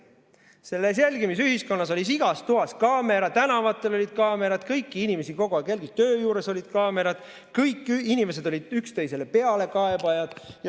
Selles jälgimisühiskonnas oli igas toas kaamera, tänavatel olid kaamerad, kõiki inimesi kogu aeg jälgiti, töö juures olid kaamerad, kõik inimesed olid pealekaebajad.